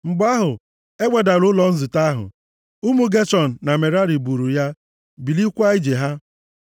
Mgbe ahụ, e wedara ụlọ nzute ahụ. Ụmụ Geshọn na Merari buru ya, bilikwaa ije ha.